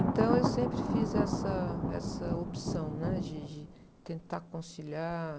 Então, eu sempre fiz essa, essa opção, né? De, de tentar conciliar.